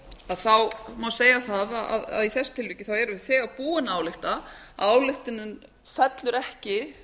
að þá má segja það í þessu tilviki árum við eiga búin að álykta ályktunin fellur ekki